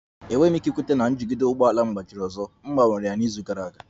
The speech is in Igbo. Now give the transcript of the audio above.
Enweghị m ike ikweta na njigide ụgbọ ala m gbajiri ọzọ, m gbanwere ya n'izu gara aga